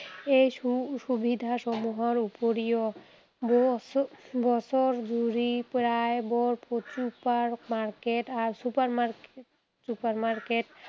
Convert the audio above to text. এই সু সুবিধাসমূহৰ উপৰিও বছ বছৰ জুৰি প্ৰায় super market আহ super market, super market